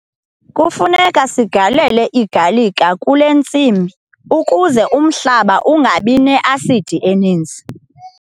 Kufuneka sigalele igalika kule ntsimi ukuze umhlaba ungabi ne-asidi eninzi.